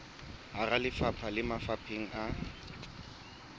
hara lefapha le mafapheng a